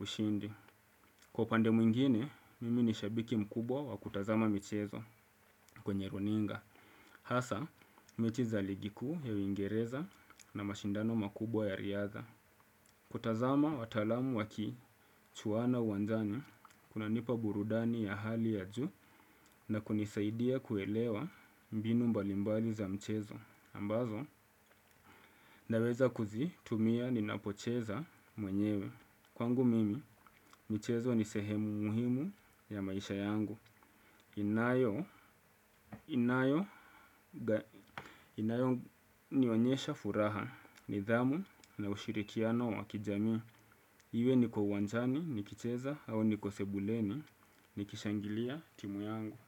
ushindi. Kwa upande mwingine, mimi ni shabiki mkubwa wa kutazama michezo kwenye runinga. Hasa, mechi za ligi kuu ya uingereza na mashindano makubwa ya riadha. Kutazama wataalamu wakichuwana uwanjani, kunanipa burudani ya hali ya juu na kunisaidia kuelewa mbinu mbalimbali za mchezo. Ambazo, naweza kuzitumia ninapocheza mwenyewe. Kwangu mimi, michezo ni sehemu muhimu ya maisha yangu. Inayo nionyesha furaha nidhamu na ushirikiano wa kijamii. Iwe niko uwanjani, nikicheza au niko sebuleni, nikishangilia timu yangu.